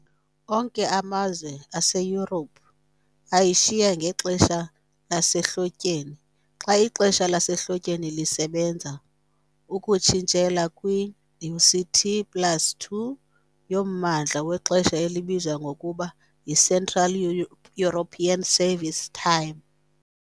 Onke amazwe aseYurophu ayishiya ngexesha lasehlotyeni xa ixesha lasehlotyeni lisebenza, ukutshintshela kwi-UTC plus 2 yommandla wexesha elibizwa ngokuba yiCentral European Summer Time.